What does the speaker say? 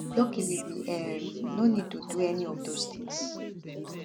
luckily we um no need to do any of dos tins